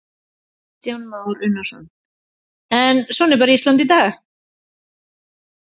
Kristján Már Unnarsson: En svona er bara Ísland í dag?